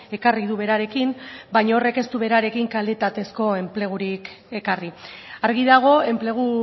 ekarri du berarekin baina horrek ez du berarekin kalitatezko enplegurik ekarri argi dago enplegu